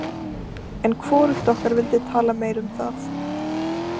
En hvorugt okkar vildi tala meira um það.